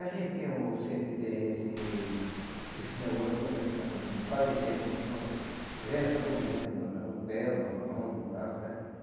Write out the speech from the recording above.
A gente o sempre tem esse esse negócio, quando a gente passa um bocado de tempo num canto, vem essa dormência na no pé, ou na mão, no braço, né?